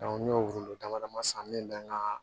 n'i y'o don dama san min bɛ n ka